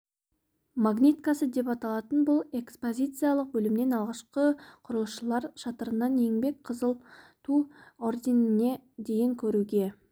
магниткасы деп аталатын бұл экспозициялық бөлімнен алғашқы құрылысшылар шатырынан еңбек қызыл ту орденіне дейін көруге